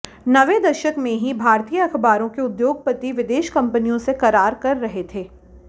नवें दशक में ही भारतीय अखबारों के उद्योगपति विदेश कंपनियों से करार कर रहे थे